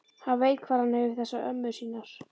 Hann veit hvar hann hefur þessar ömmur sínar.